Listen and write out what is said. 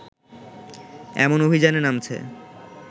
এমন অভিযানে নামছে